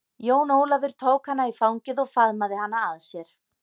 Jón Ólafur tóka hana í fangið og faðmaði hana að sér.